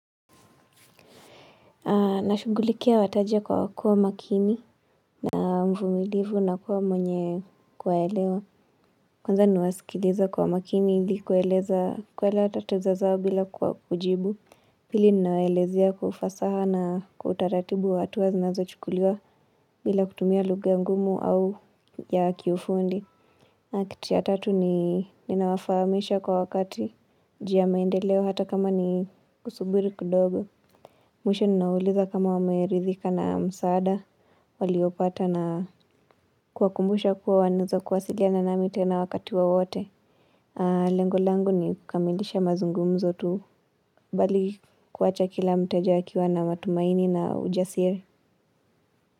Nashugulikia wateja kwa kuwa makini na mvumilivu na kuwa mwenye kuwaelewa. Kwanza nawasikiliza kwa makini ili kueleza kuelewa tatizo zao bila kwa kujibu. Pili ninawelezea kwa ufasaha na kwa utaratibu hatua zinazochukuliwa bila kutumia lugha ngumu au ya kiufundi. Na kitu ya tatu ni ninawafahamisha kwa wakati juu ya maendeleo hata kama ni kusubiri kidogo. Mwisho ninawauliza kama wameridhika na msaada, waliopata na kuwa kumbusha kuwa wanaeza kuwasiliana nami tena wakati wowote. Lengo langu ni kukamilisha mazungumzo tu, bali kuwacha kila mteja akiwa na matumaini na ujasiri.